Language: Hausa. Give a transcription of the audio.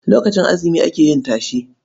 Lokacin azumi ake yin tashe.